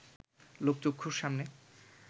লোকচক্ষুর সামনে